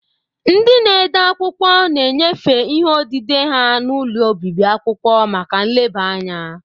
Ndị na-ede akwụkwọ na-enyefe ihe odide ha n'ụlọ obibi akwụkwọ maka nleba anya.